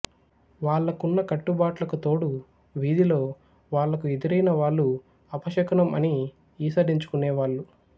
వాళ్ళకున్న కట్టుబాట్లకు తోడు వీధిలో వాళ్ళకు ఎదురైన వాళ్ళు అపశకునం అని ఈసడించుకునే వాళ్ళు